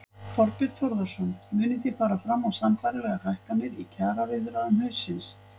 Þorbjörn Þórðarson: Munið þið fara fram á sambærilegar hækkanir í kjaraviðræðum haustsins?